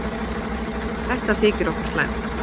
Þetta þykir okkur slæmt.